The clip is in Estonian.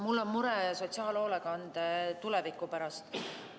Mul on mure sotsiaalhoolekande tuleviku pärast.